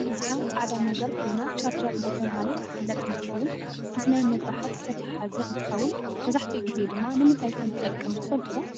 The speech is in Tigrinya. እዘኣ ፃዕዳ ነገር ኮይና ቻርጀር እደተበሃለት ትፍለጥ እንትከውን ምስ ናይ መብራሓት ዝተተሓሓዘ እንትከውን መብዛሕትኡ ግዘ ድማ ንምንታይ ከም ትጠቅም ትፍልትዶ?